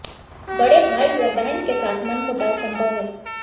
बड़े भाई या बहन के साथ मनमुटाव संभव है